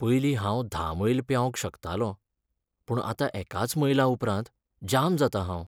पयलीं हांव धा मैल पेंवंक शकतालों पूण आतां एकाच मैलां उपरांत जाम जातां हांव .